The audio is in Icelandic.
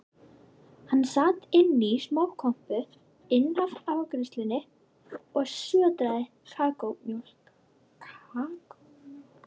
Hann sat inní smákompu innaf afgreiðslunni og sötraði kakómjólk.